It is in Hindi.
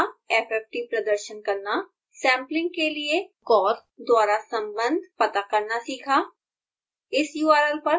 fft द्वारा fft प्रदर्शन करना सैम्पलिंग के लिए corr द्वारा संबंध पता करना सीखा